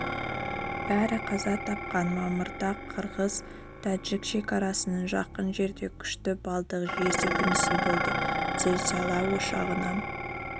бәрі қаза тапқан мамырда қырғыз-тәжік шекарасына жақын жерде күші баллдық жер сілкінісі болды зілзала ошағына